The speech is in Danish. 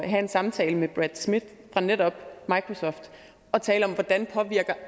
have en samtale med brad smith fra netop microsoft og tale om hvordan